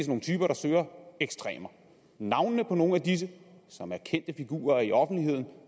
nogle typer der søger ekstremer navnene på nogle af disse som er kendte figurer i offentligheden og